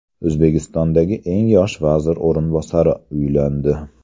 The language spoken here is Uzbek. O‘zbekistondagi eng yosh vazir o‘rinbosari uylandi.